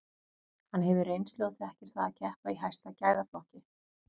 Hann hefur reynslu og þekkir það að keppa í hæsta gæðaflokki.